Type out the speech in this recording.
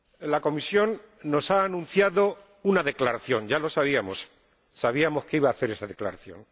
La Comisión nos ha anunciado una declaración ―ya lo sabíamos, sabíamos que iba a hacer esa declaración―.